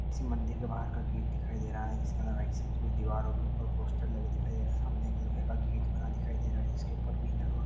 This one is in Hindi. किसी मन्दिर के बाहर का गेट दिखाई दे रहा है| जिस कोई दीवारो के ऊपर पोस्टर लगे दिखाई दे रहे है| सामने एक लोहे का गेट बना दिखाई दे रहा है| जिसके ऊपर बिना --